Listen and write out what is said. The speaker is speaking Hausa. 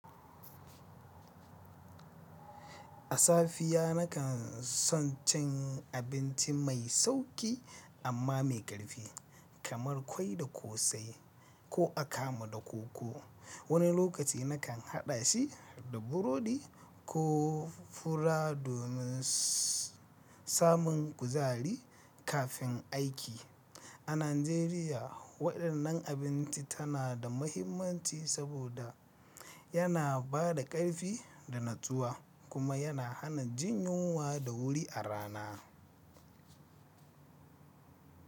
A safiya na kan son cin abinci mai sauƙi amma mai ƙarfi kamar ƙwai da ƙosai ko akamu da koko. Wani lokaci na kan haɗa shi da burodi ko fura domin samun kuzari kafin aiki. A Najeriya, waɗannan abinci tana da mahimmanci saboda yana ba da ƙarfi da natsuwa kuma yana hana jin yunwa da wuri a rana.